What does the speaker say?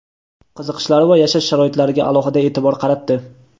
qiziqishlari va yashash sharoitlariga alohida eʼtibor qaratdi.